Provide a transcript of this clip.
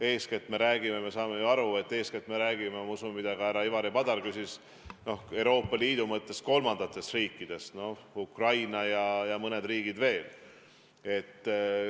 Eeskätt me räägime ju ja me kõik saame aru, et härra Ivari Padar pidas silmas Euroopa Liidu suhtes kolmandaid riike – Ukrainat ja ehk mõnd riiki veel.